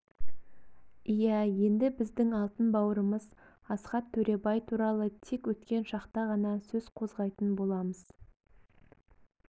иә енді біздің алтын бауырымыз асхат төребай туралы тек өткен шақта ғана сөз қозғайтын боламыз